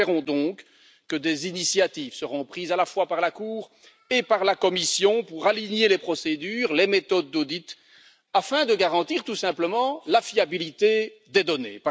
Nous espérons donc que des initiatives seront prises, à la fois par la Cour et par la Commission, pour aligner les procédures, les méthodes d'audit afin de garantir tout simplement la fiabilité des données.